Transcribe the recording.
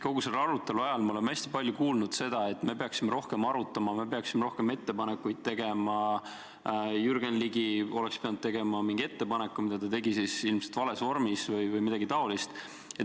Kogu selle arutelu ajal me oleme hästi palju kuulnud, et me peaksime rohkem arutama, me peaksime rohkem ettepanekuid tegema, Jürgen Ligi oleks pidanud tegema mingi ettepaneku, mille ta tegi ilmselt vales vormis või midagi taolist.